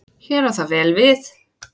Hér á það vel við.